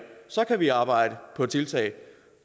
så kan vi arbejde på tiltag